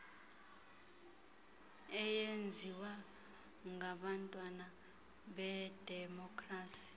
eyenziwa ngabantwana bedemokrasi